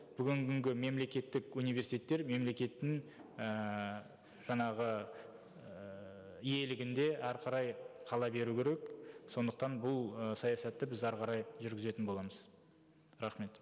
бүгінгі күнгі мемлекеттік университеттер мемлекеттің ііі жаңағы ііі иелігінде әрі қарай қала беру керек сондықтан бұл ы саясатты біз әрі қарай жүргізетін боламыз рахмет